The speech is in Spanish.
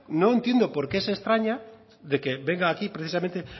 no entiendo por qué se extraña de que venga aquí precisamente